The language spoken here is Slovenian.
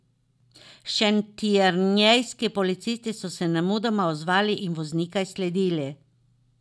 Šentjernejski policisti so se nemudoma odzvali in voznika izsledili.